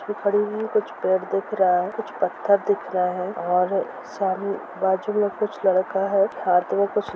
कुछ खड़े हुए है कुछ पैर दिख रहा है कुछ पत्थर दिख रहा है और सामने बाजू में कुछ लकड़ा है हाथ में कुछ--